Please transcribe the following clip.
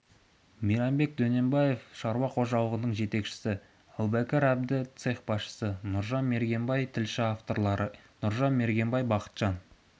мейрамбек дөненбаев шаруа қожалығының жетекшісі әбубәкір әбді цех басшысы нұржан мергенбай тілші авторлары нұржан мергенбай бақытжан